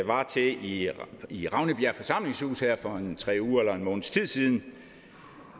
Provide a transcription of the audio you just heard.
var til i i ravnebjerg forsamlingshus her for tre uger eller en måneds tid siden